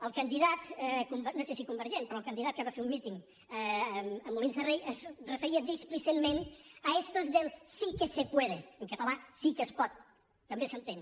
el candidat no sé si convergent però el candidat que va fer un míting a molins de rei es referia displicent·ment a estos del sí que se puede en català sí que es pot també s’entén